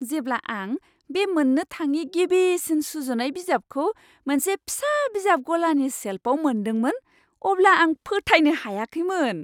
जेब्ला आं बे मोन्नो थाङि गिबिसिन सुजुनाय बिजाबखौ मोनसे फिसा बिजाब गलानि सेल्फआव मोनदोंमोन अब्ला आं फोथायनो हायाखैमोन।